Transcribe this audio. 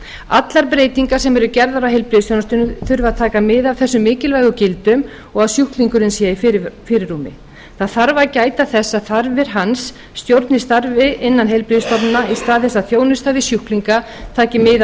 allar breytingar sem gerðar eru á heilbrigðisþjónustunni þurfa að taka mið af þessum mikilvægu gildum og að sjúklingurinn sé í fyrirrúmi það þarf að gæta þess að þarfir hans stjórni starfi innan heilbrigðisstofnana í stað þess að þjónusta við sjúklinga taki mið af